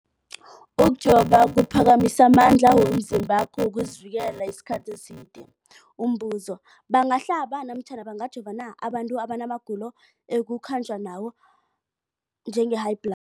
Ukujova kuphakamisa amandla womzimbakho wokuzivikela isikhathi eside. Umbuzo, bangahlaba namkha bangajova na abantu abana magulo ekukhanjwa nawo, njengehayibhla